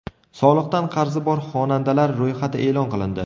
Soliqdan qarzi bor xonandalar ro‘yxati e’lon qilindi.